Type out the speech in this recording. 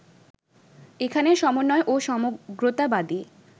এখানে সমন্বয় ও সমগ্রতাবাদী